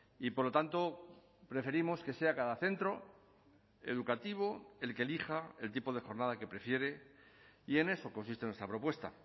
y por lo tanto preferimos que sea cada centro educativo el que elija el tipo de jornada que prefiere y en eso consiste nuestra propuesta